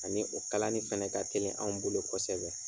Ani o kalanni fɛnɛ ka teli anw bolo kosɛbɛ.